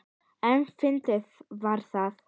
En fyndið var það.